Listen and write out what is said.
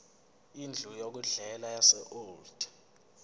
indlu yokudlela yaseold